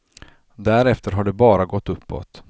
Därefter har det bara gått uppåt.